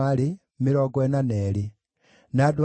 na cia Pashuri ciarĩ 1,247